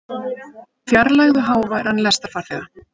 Fjarlægðu háværan lestarfarþega